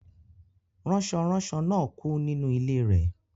Ranso-ranso náà kú nínú ilé rẹ̀